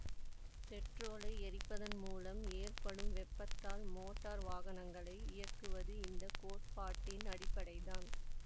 பெட்ரொலை எரிப்பதன் மூலம் ஏற்படும் வேப்பாதால் மோட்டார் வாகனங்கலை இயக்குவது இந்த கோட்பாட்டின் அடிப்படை தான்